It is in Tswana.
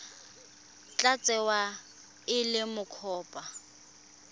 tla tsewa e le mokopa